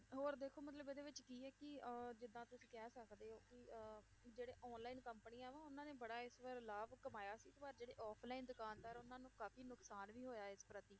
ਹੋਰ ਦੇਖੋ ਮਤਲਬ ਇਹਦੇ ਵਿੱਚ ਕੀ ਹੈ ਕਿ ਅਹ ਜਿੱਦਾਂ ਤੁਸੀਂ ਕਹਿ ਸਕਦੇ ਹੋ ਕਿ ਅਹ ਜਿਹੜੇ online ਕੰਪਨੀਆਂ ਵਾ ਉਹਨਾਂ ਨੇ ਬੜਾ ਇਸ ਵਾਰ ਲਾਭ ਕਮਾਇਆ ਸੀ ਪਰ ਜਿਹੜੇ offline ਦੁਕਾਨਦਾਰ, ਉਹਨਾਂ ਨੂੰ ਕਾਫ਼ੀ ਨੁਕਸਾਨ ਵੀ ਹੋਇਆ ਇਸ ਪ੍ਰਤੀ